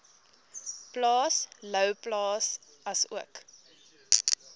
plaas louwplaas asook